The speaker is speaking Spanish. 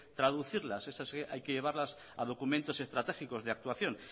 traducirlas esas hay que llevarlas a documentos estratégicos de actuación